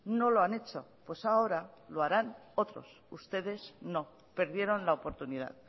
no lo han hecho pues ahora lo harán otros ustedes no perdieron la oportunidad